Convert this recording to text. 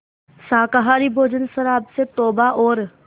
शाकाहारी भोजन शराब से तौबा और